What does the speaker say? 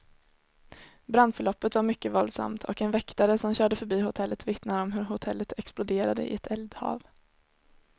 Brandförloppet var mycket våldsamt, och en väktare som körde förbi hotellet vittnar om hur hotellet exploderade i ett eldhav.